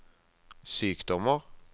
sykdommer